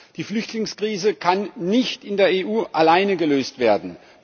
Die Flüchtlingskrise kann nicht in der EU alleine gelöst werden.